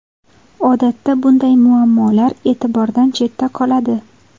Odatda bunday muammolar e’tibordan chetda qoladi.